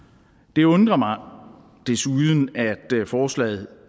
det undrer mig desuden at forslaget